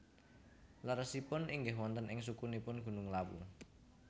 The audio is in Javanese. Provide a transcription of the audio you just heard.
Leresipun inggih wonten ing sukunipun Gunung Lawu